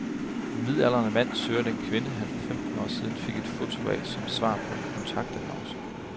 En midaldrende mand søger den kvinde, han for femten år siden fik et foto af som svar på en kontaktannonce.